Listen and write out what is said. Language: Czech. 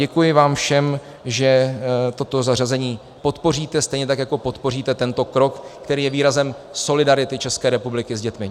Děkuji vám všem, že toto zařazení podpoříte, stejně tak jako podpoříte tento krok, který je výrazem solidarity České republiky s dětmi.